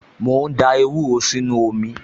Mò ń da ewúro sínú omi